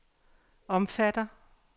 omfatter